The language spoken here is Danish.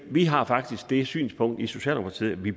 vi har faktisk det synspunkt i socialdemokratiet at vi